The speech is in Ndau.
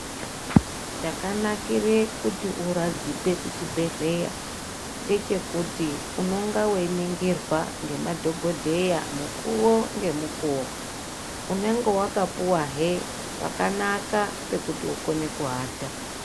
Chakanakire kuti uradzikwe kuchibhedhleya ngechekuti unonga veiningirwa ngemadhogodheya mukuvo ngemukuvo. Unenge vakapuvahe pakanaka pekuti ukone kuata.